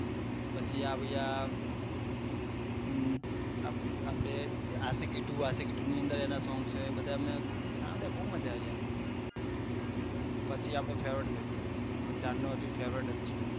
પછી આયુ આયા અસ્શીકી ટુ આશિકી ટુ ની અંદર એના સોંગ છે એ બધા શામળિયા બહુ મજા આયી ગયી પછી આપડું favourite થઇ ગયો અને ત્યારનો અજુ favourite છે